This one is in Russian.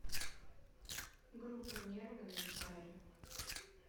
группа нервы на гитаре